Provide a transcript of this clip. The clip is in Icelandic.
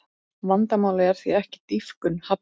Vandamálið er því ekki dýpkun hafnarinnar